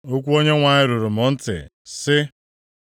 Okwu Onyenwe anyị ruru m ntị, sị,